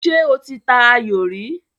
Ṣé o ti ta ayò rí?